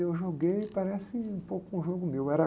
Eu joguei, parece um pouco com um jogo meu. Era...